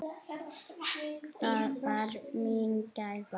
Það var mín gæfa.